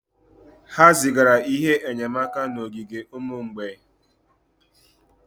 Ha zigara ihe enyemaka n'ogige ụmụ mgbei